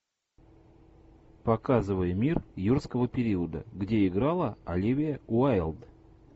показывай мир юрского периода где играла оливия уайлд